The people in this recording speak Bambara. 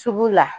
Sugu la